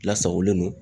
Lasagolen don